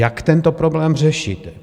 Jak tento problém řešit?